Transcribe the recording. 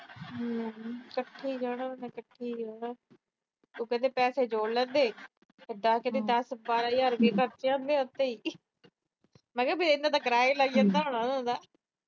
ਹੂੰ, ਕੱਠੇ ਈ ਜਾਣਾ ਉਹਨੇ, ਕੱਠੇ ਈ ਆਣਾ। ਉਹ ਕਹਿੰਦੇ ਪੈਸੇ ਜੋੜ ਲੈਂਦੇ, ਫਿਰ ਦਸ-ਬਾਰਾਂ ਹਜਾਰ ਖਰਚ ਆਉਂਦੇ ਉਥੇ ਹੀ। ਮੈਂ ਕਿਹਾ ਫਿਰ ਤਾਂ ਕਿਰਾਇਆ ਈ ਲੱਗ ਜਾਂਦਾ ਹੋਣਾ ਉਹਨਾਂ ਦਾ।